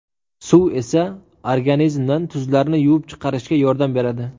Suv esa organizmdan tuzlarni yuvib chiqarishga yordam beradi.